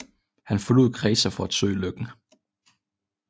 Han forlod Kreta for at søge lykken